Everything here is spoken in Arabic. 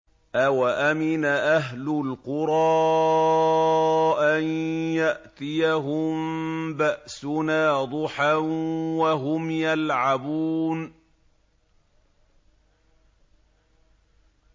أَوَأَمِنَ أَهْلُ الْقُرَىٰ أَن يَأْتِيَهُم بَأْسُنَا ضُحًى وَهُمْ يَلْعَبُونَ